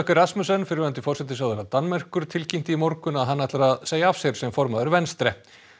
Rasmussen fyrrverandi forsætisráðherra Danmerkur tilkynnti í morgun að hann hefði að segja af sér sem formaður Venstre